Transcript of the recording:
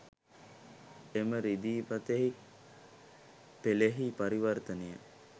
එම රිදී පතෙහි පෙළෙහි පරිවර්තනය